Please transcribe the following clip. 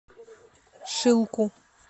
шилку